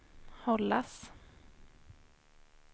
hållas